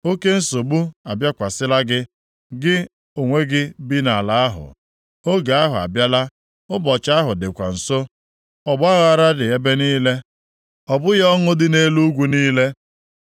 Oke nsogbu abịakwasịla gị, gị onwe gị bi nʼala ahụ. Oge ahụ abịala! Ụbọchị ahụ dịkwa nso! Ọgbaaghara dị ebe niile, ọ bụghị ọṅụ dị nʼelu ugwu niile.